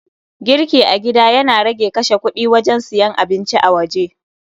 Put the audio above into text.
Girki a gida Yana rage kashe kudi wajen siyan abinci a waje